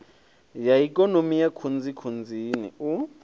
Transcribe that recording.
ya ikonomi ya khunzikhunzini u